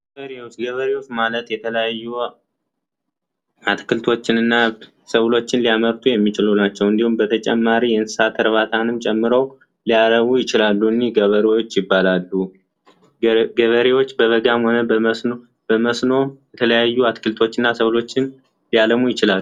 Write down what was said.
ገበሬዎች፡ ገበሬዎች ማለት የተለያዩ አትክልቶችንና ሰብሎችን ሊያመርቱ የሚችሉ ናቸው። እንዲሁም በተጨማሪ የእንሰሳት እርባታን ጨምሮ ሊያረቡ ይችላሉ። እነዚህ ገበሬዎች ይባላሉ፤ ገበሬዎች በበጋም ሆነ በመስኖ የተለያዩ ሰብሎችንና አትክልቶችን ሊያለሙ ይችላሉ።